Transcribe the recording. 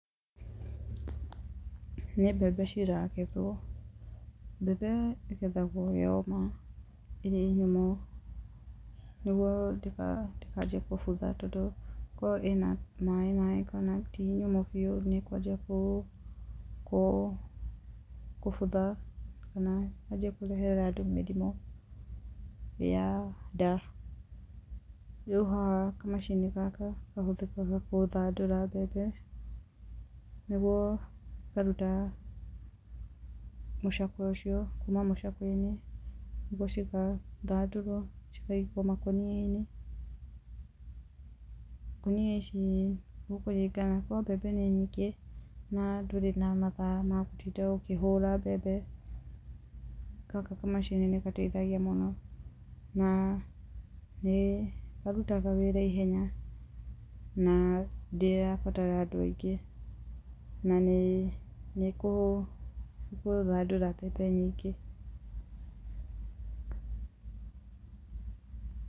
Nĩ mbembe ciragethwo. Mbembe ĩgethagwo yoma, ĩrĩ nyũmũ nĩguo ndĩkanjie kũbutha tondũ korwo ĩna maĩ maĩ kana ti nyũmũ biũ, nĩ ĩkwanjia kũbutha kana yanjie kũrehera andũ mĩrimũ ya nda. Rĩu haha kamacini gaka kahũthĩkaga kũthandũra mbembe nĩguo ĩkaruta mũcakwe ũcio, kuma mũcakwe-inĩ, mboco ikathandũrwo cikaigwo makonia-inĩ. Ngonia ici nĩ gũkũringana, korwo mbembe nĩ nyingĩ na ndũrĩ na mathaa ma gũtinda ũkĩhũra mbembe, gaka kamacini nĩ gateithagia mũno na nĩ karutaga wĩra ihenya na ndĩrabatara andũ aingĩ na nĩ nĩkũthandũra mbembe nyingĩ.